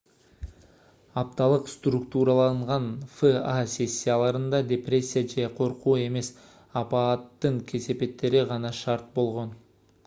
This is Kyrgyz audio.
апталык структураланган фа сессияларында депрессия же коркуу эмес апааттын кесепеттери гана шарт болгон